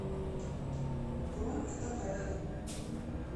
бронь фотография